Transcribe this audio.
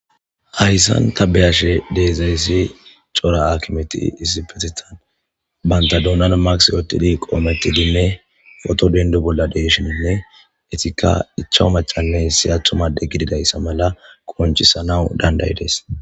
hayssan ta be7ashe dizayssi cora akimeti isipetitan banta doonan maks yoottidi qoometidinne oto dendu bolla deshininne etikka ichawu macale si athumade gididayssa mala konchisana dandayi dees.